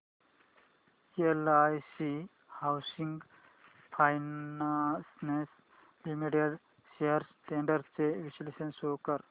LIC housing finance limited shares trends चे विश्लेषण show कर